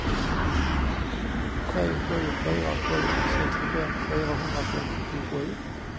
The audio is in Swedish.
tre sju fyra sju sextiofem fyrahundrafemtiosju